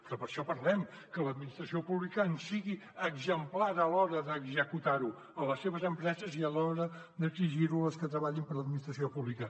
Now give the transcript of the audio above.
però per això parlem que l’administració pública en sigui exemplar a l’hora d’executar ho a les seves empreses i a l’hora d’exigir ho a les que treballin per a l’administració pública